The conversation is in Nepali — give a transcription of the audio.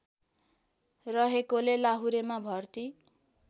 रहेकोले लाहुरेमा भर्ती